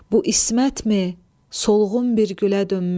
Bu İsmətmi, solğun bir gülə dönmüş.